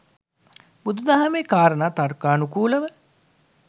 බුදු දහමේ කාරණා තර්කානුකූලව